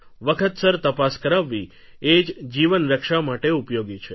વખતસર તપાસ કરાવવી એ જ જીવનરક્ષા માટે ઉપયોગી છે